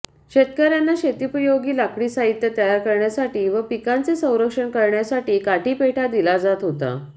शेतकर्यांना शेतोपयोगी लाकडी साहित्य तयार करण्यासाठी व पिकांचे संरक्षण करण्यासाठी काठीपेठा दिला जात होता